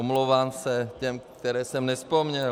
Omlouvám se těm, které jsem nevzpomněl.